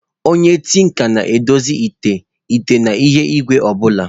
Onye tinka na-edozi ite, ite na ihe igwe obula.